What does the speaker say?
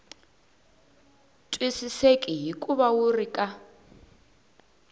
twisiseki hikuva wu ri ka